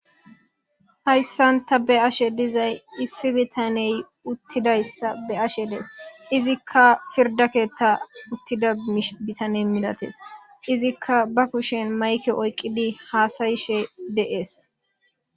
Hayssan ta be'ashe dizay issi bitaney uttidayssa be'ashe de'ays; izikka pirda keetta uttida bitane milatees; iziika ba kushen mayke oyqidi haasa'ishe de'es.